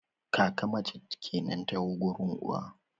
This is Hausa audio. kaka mace kenan ta gurin uwa